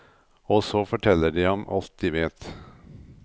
Og så forteller de ham alt de vet.